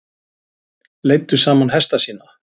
Leiddu saman hesta sína